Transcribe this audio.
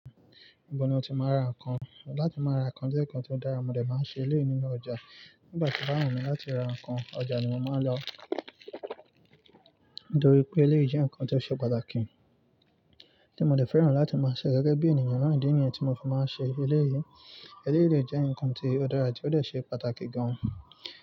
Ibo ni o ti máa ń ra nǹkan? Látí máa ra nǹkan jẹ́ nǹkan tó dára, mo dè máa ń ṣe eléyìí nínú ọjà. Nígbà tí o bá wù mí láti ra nǹkan, ọjà ni mo máa ń lọ. Nítorí pé eléyìí jẹ́ nǹkan tó ṣe pàtàkì, tí mo dè fẹ́ràn láti máa ṣẹ̀ gẹ́gẹ́ bí ènìyàn náà idi niyen tí mo fi máa ń ṣe eléyìí. Eléyìí lè jẹ́ nǹkan tí ó dára ti ó dè ṣe pàtàkì gan.